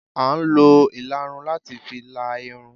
À n lo illarún latí fí lá Irún